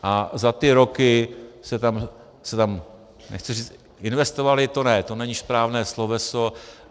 A za ty roky se tam - nechci říct investovaly, to ne, to není správné sloveso.